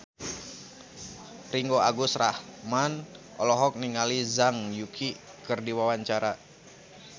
Ringgo Agus Rahman olohok ningali Zhang Yuqi keur diwawancara